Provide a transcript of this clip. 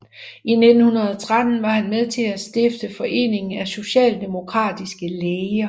I 1913 var han med til at stifte foreningen af socialdemokratiske læger